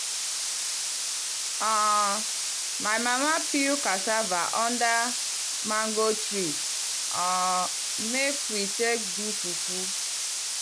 um my mama peel casava under mango tree um make we take do fufu.